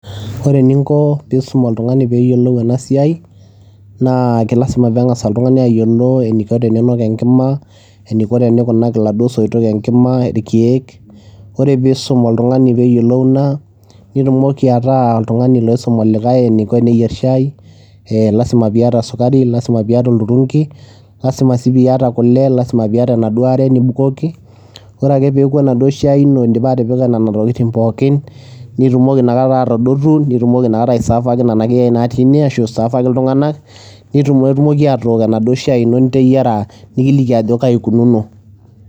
Ore eninko piisum oltung'ani peeyiolou ena siai naa ke lazima peeng'asa oltung'ani ayiolo eniko teniinok enkima, eniko tenikunaki iladuo soitok enkima, irkeek. Ore piisum oltung'ani peeyiolou naa nitumoki ataa oltung'ani loisum olikai eniko eneyier shai, ee lazima piiyata sukari, lazima piiyata olturunki. Lzima sii piiyata kule, lazima piyata enaduo are nibukoki. Ore ake peeku enaduo shai ino indipa atipika nena tokitin pookin, nitumoki inakata atadotu nitumoki inakata aiservaki nena keyai natii ine ashu iservaki iltung'anak, nitum etumoki atook enaduo shai ino niteyiara nikiliki ajo kai ikununo.